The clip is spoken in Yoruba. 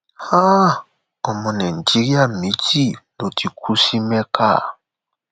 um ọmọ nàìjíríà méjì ló ti kú sí mẹka